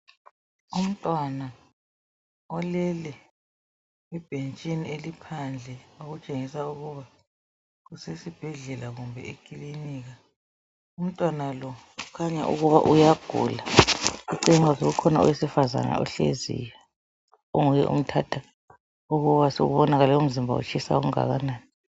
Umntwana olele ebhentshini eliphandle okutshengisa ukuba kusesibhedlela kumbe eKilinika. Umntwana lo kukhanya ukuba uyagula. Kukhona owesifazana ohleziyo onguye omthatha ukuba kubonakala umzimba utshisa okungakanani.